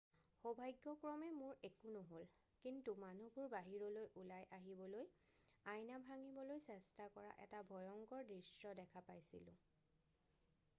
"""সৌভাগ্যক্ৰমে মোৰ একো নহ'ল কিন্তু মানুহবোৰ বাহিৰলৈ ওলাই আহিবলৈ আইনা ভাঙিবলৈ চেষ্টা কৰা এটা ভয়ংকৰ দৃশ্য দেখা পাইছিলোঁ।""